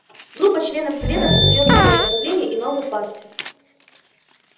группа членов совета создаёт новое направление и новую партию